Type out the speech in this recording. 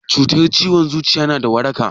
Cutar ciwon zuciya na da waraka?